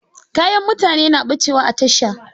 Kayan mutane na ɓacewa a tasha.